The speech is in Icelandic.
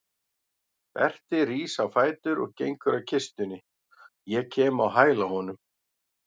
Berti rís á fætur og gengur að kistunni, ég kem á hæla honum.